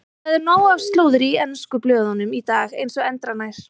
Það er nóg af slúðri í ensku blöðunum í dag eins og endranær.